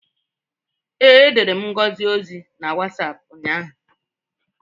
Ee, edere m Ngozi ozi na Wasapụ ụnyaahụ.